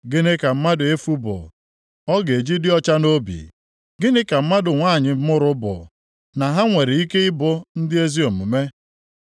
“Gịnị ka mmadụ efu bụ, ọ ga-eji dị ọcha nʼobi, gịnị ka mmadụ nwanyị mụrụ bụ, na ha nwere ike ị bụ ndị ezi omume?